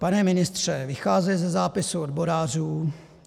Pane ministře, vycházím ze zápisu odborářů.